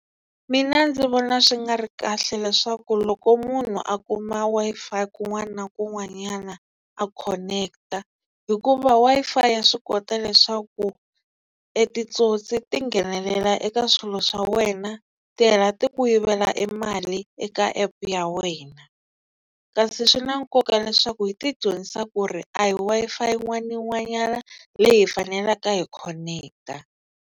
Mina ndzi vona swi nga ri kahle leswaku loko munhu a kuma Wi-Fi kun'wana na kun'wanyana a connect hikuva Wi-Fi ya swi kota leswaku e titsotsi ti nghenelela eka swilo swa wena ti hela ti ku yivela e mali eka app ya wena kasi swi na nkoka leswaku hi ti dyondzisa ku ri a hi Wi-Fi yin'wana na yin'wanyana leyi hi faneleke hi khoneketa.